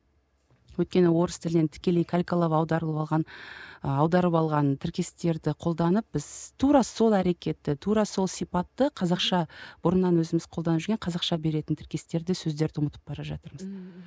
өйткені орыс тілінен тікелей калькалап аударылып алған аударып алған тіркестерді қолданып біз тура сол әрекетті тура сол сипатты қазақша бұрыннан өзіміз қолданып жүрген қазақша беретін тіркестерді сөздерді ұмытып бара жатырмыз ммм